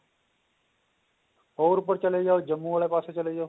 ਹੋਰ ਉੱਪਰ ਚਲੇ ਜਾਓ ਜੰਮੂ ਵਾਲੇ ਪਾਸੇ ਚਲੇ ਜਾਓ